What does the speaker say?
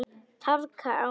Traðka á mér!